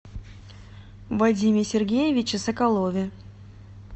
вадиме сергеевиче соколове